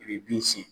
I bɛ bin siyɛn